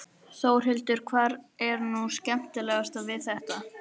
Þórhildur: Hvað er nú skemmtilegast við þetta?